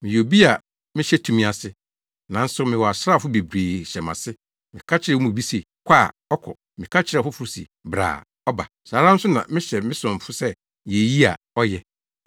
Meyɛ obi a mehyɛ tumi ase, nanso mewɔ asraafo bebree hyɛ mʼase. Meka kyerɛ wɔn mu bi se, ‘Kɔ’ a, ɔkɔ. Meka kyerɛ ɔfoforo se, ‘Bra’ a, ɔba. Saa ara nso na mehyɛ me somfo sɛ, ‘Yɛ eyi’ a, ɔyɛ.”